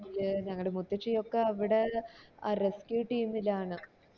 പിന്നെ ഞങ്ങടെ മുത്തശ്ശി ഒക്കെ rescue team ലാണ്